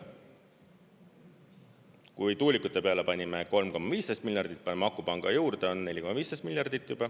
Kui tuulikute peale panime 3,15 miljardit, paneme akupanga juurde, on 4,15 miljardit.